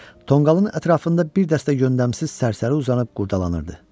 Tonqalın ətrafında bir dəstə yöndəmsiz sərsəri uzanıb qurcalanırdı.